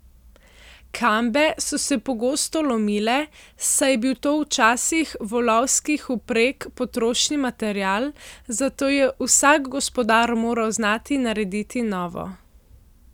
Kambe so se pogosto lomile, saj je bil to v časih volovskih vpreg potrošni material, zato je vsak gospodar moral znati narediti novo.